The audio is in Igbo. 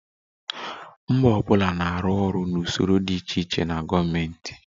Mba ọ bụla na-arụ ọrụ na usoro dị iche iche nke gọọmentị